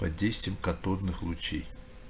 под действием катодных лучей